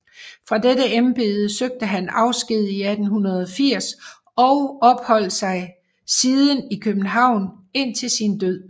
Fra dette embede søgte han afsked 1880 og opholdt sig siden i København indtil sin død